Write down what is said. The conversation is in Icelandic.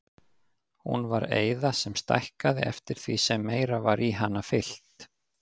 Hún var eyða sem stækkaði eftir því sem meira var í hana fyllt.